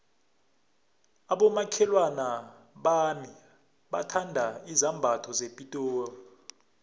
abomakhelwana bami bathanda izambatho zepitori